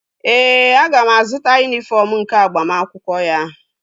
Ee, aga m azụta yunifọm nke agbamakwụkwọ ya